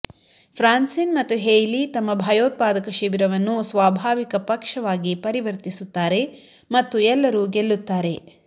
ಫ್ರಾನ್ಸಿನ್ ಮತ್ತು ಹೇಯ್ಲಿ ತಮ್ಮ ಭಯೋತ್ಪಾದಕ ಶಿಬಿರವನ್ನು ಸ್ವಾಭಾವಿಕ ಪಕ್ಷವಾಗಿ ಪರಿವರ್ತಿಸುತ್ತಾರೆ ಮತ್ತು ಎಲ್ಲರೂ ಗೆಲ್ಲುತ್ತಾರೆ